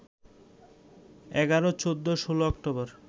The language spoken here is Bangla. ১১, ১৪, ১৬ অক্টোবর